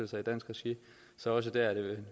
sig i dansk regi så også der er det